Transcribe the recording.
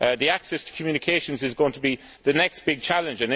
Access to communications is going to be the next big challenge